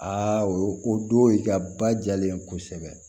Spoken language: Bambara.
Aa o don i ka ba jalen kosɛbɛ